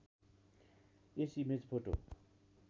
yes image photo